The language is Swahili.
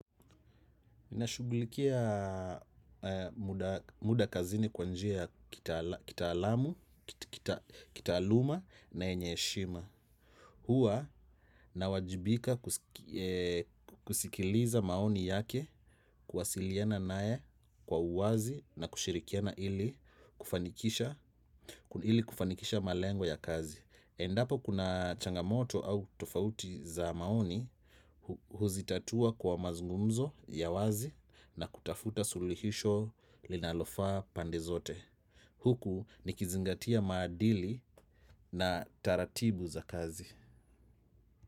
Nashugulikia muda kazini kwa njia ya kitaalamu, kitaaluma na yenye heshima. Huwa nawajibika kusikiliza maoni yake kuwasiliana nae kwa uwazi na kushirikiana ili kufanikisha malengo ya kazi. Endapo kuna changamoto au tofauti za maoni huzitatua kwa mazungumzo ya wazi na kutafuta suluhisho linalofaa pande zote. Huku nikizingatia maadili na taratibu za kazi.